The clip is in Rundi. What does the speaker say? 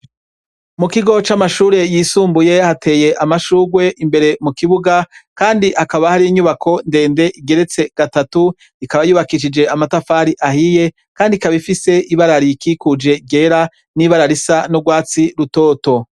Mu kigo c'amashure yisumbuye hateye amashugwe imbere mukibuga kandi hakaba hariyo inyubako ndende igeretse gatatu ikaba yubakishije amatafari ahiye kandi ikaba ifise ibara ririkikuje ryera n'ibara risa n'ugwatsi rutoto.